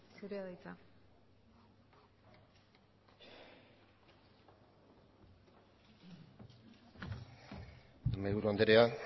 zurea da hitza mahaiburu andrea